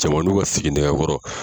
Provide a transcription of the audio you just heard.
Cɛmaninw ka siginɛgɛkɔrɔ